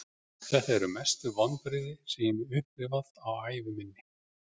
Þetta eru mestu vonbrigði sem ég hef upplifað á ævi minni.